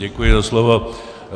Děkuji za slovo.